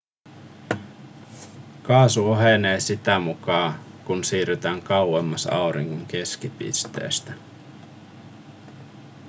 kaasu ohenee sitä mukaa kun siirrytään kauemmas auringon keskipisteestä